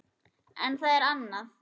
En það er annað.